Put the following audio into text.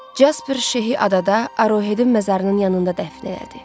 Casper Şehi adada Arohedin məzarının yanında dəfn elədi.